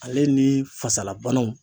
Ale ni fasalabanaw